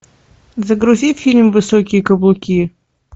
загрузи фильм высокие каблуки